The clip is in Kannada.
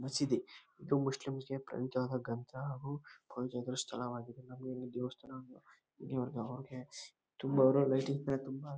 ಮಸೀದಿ ಇದು ಮುಸ್ಲಿಮ್ಸ್ ಗೆ ಪವಿತ್ರವಾದಂತಹ ಗ್ರಂಥ ಹಾಗೂ ಪೂಜಾರ್ಹ ಸ್ಥಳವಾಗಿದೆ ನಮಗೆ ಹೇಗೆ ದೇವಸ್ಥಾನ ತುಂಬ--